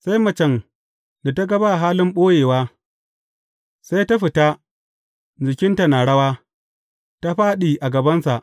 Sai macen, da ta ga ba halin ɓoyewa, sai ta fita, jikinta na rawa, ta fāɗi a gabansa.